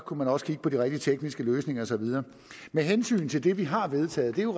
kunne man også kigge på de rigtige tekniske løsninger og så videre med hensyn til det vi har vedtaget er